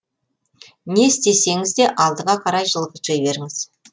не істесеңізде алдыға қарай жылжи беріңіз